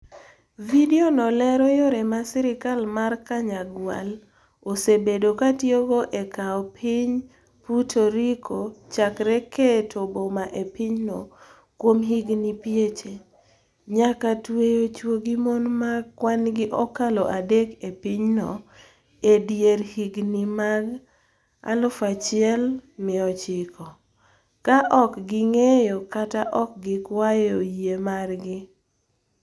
Vidiono lero yore ma sirkal mar Kanyagwal osebedo ka tiyogo e kawo piny Puerto Rico, chakre keto bom e pinyno kuom higini pieche, nyaka tweyo chwo gi mon ma kwan-gi okalo adek e pinyno e dier higini mag 1900, ka ok ging'eyo kata ok gikwayo yie margi.